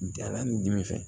Danna ni dimi fɛ